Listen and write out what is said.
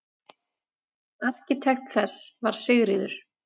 Arkitekt þess var Sigríður